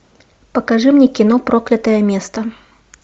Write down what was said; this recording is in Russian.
покажи мне кино проклятое место